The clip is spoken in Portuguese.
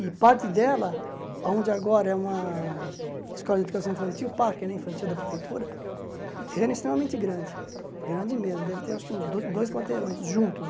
E parte dela, onde agora é uma escola de educação infantil, parque né infantil da prefeitura, o terreno é extremamente grande, grande mesmo, deve ter acho que uns dois quarteirões juntos.